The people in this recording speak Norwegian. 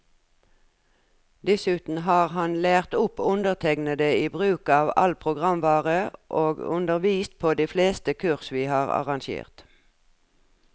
Dessuten har han lært opp undertegnede i bruk av all programvare, og undervist på de fleste kurs vi har arrangert.